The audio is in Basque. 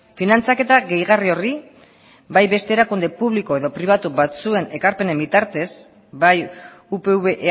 finantzaketa gehigarri horri bai beste erakunde publiko edo pribatu batzuen ekarpenen bitartez bai upv